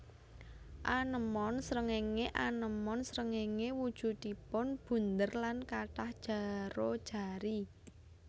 Anémon srengéngé anémon srengéngé wujudipun bunder lan kathah jaro jari